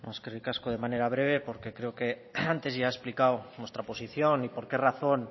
eskerrik asko de manera breve porque creo que antes ya he explicado nuestra posición y por qué razón